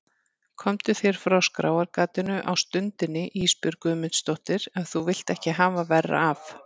Komdu þér frá skráargatinu á stundinni Ísbjörg Guðmundsdóttir ef þú vilt ekki hafa verra af.